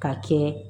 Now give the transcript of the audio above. Ka kɛ